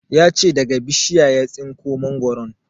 Ya ce daga bishiya ya tsinko mangoron